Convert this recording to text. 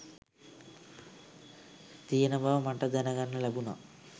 තියෙන බව මට දැන ගන්න ලැබුණා